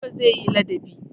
Garba zai yi ladabi.